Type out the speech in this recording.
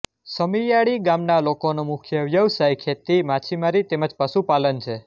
સમીયાળી ગામના લોકોનો મુખ્ય વ્યવસાય ખેતી માછીમારી તેમ જ પશુપાલન છે